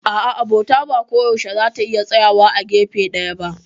A'a, Abota ba koyaushe za ta iya tsayawa a gefe ɗaya ba.